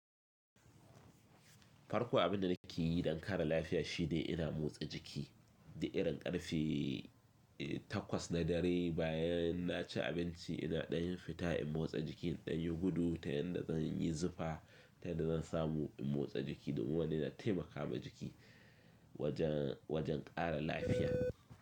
Farko abin da nake yi don kare lafiya shine ina motsa jiki da irin karfe takwas na dare bayan na ci abinci. Ina ɗanyin fita in motsa jiki, inɗanyi gudu ta yanda zan yi zufa ta yadda zan samu in motsa jiki. Domin wannan yana taimaka ma jiki wajen, wajen kara lafiya.